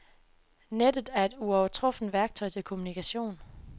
Nettet er et uovertruffent værktøj til kommunikation.